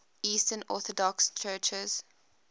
eastern orthodox churches